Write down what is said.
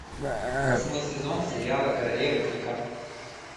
восьмой сезон сериала королевы крика